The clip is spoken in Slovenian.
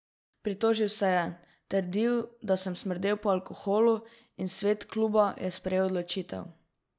Pritožil se je, trdil, da sem smrdel po alkoholu in svet kluba je sprejel odločitev.